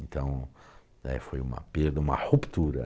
Então, eh, foi uma perda, uma ruptura.